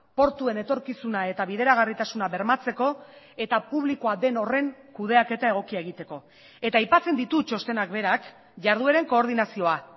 portuen etorkizuna eta bideragarritasuna bermatzeko eta publikoa den horren kudeaketa egokia egiteko eta aipatzen ditu txostenak berak jardueren koordinazioa